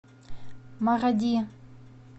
маради